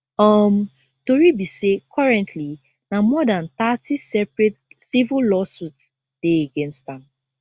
um tori be say currently na more dan thirty separate civil lawsuits dey against am